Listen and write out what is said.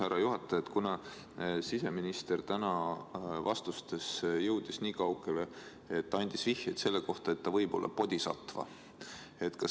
Härra juhataja, siseminister jõudis täna vastustes niikaugele, et andis vihjeid selle kohta, et ta võib olla bodhisatva.